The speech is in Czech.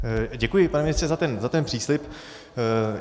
Děkuji, pane ministře, za ten příslib.